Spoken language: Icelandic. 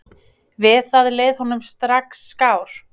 Við það leið honum strax skár.